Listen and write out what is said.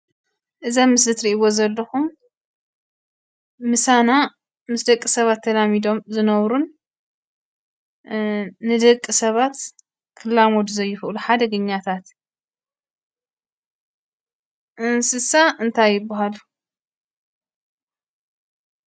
እዚ ኣብ ምስሊ እትርእይዎ ዘለኹም ምሳና ምስ ደቂ ሰባት ተላሚዶም ዝነብሩን እ ንደቂ ሰባት ክላመዱ ዘይኽእሉ ሓደገኛታት እንስሳ እንታይ ይብሃሉ?